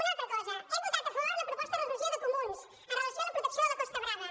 una altra cosa hem votat a favor la proposta de resolució de comuns amb relació a la protecció de la costa brava